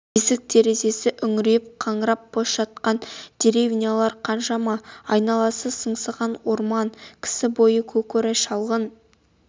есік-терезесі үңірейіп қаңырап бос жатқан деревнялар қаншама айналасы сыңсыған орман кісі бойы көкорай шалғын